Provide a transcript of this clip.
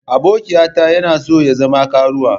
Abokiyata yana so ya zama karuwa.